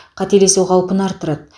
қателесу қаупін арттырады